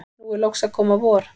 nú er loks að koma vor.